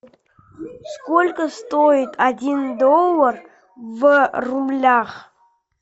сколько стоит один доллар в рублях